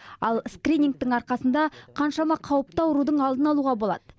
ал скринингтің арқасында қаншама қауіпті аурудың алдын алуға болады